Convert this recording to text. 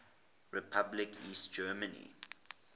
republic east germany